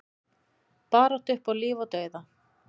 Barátta upp á líf og dauða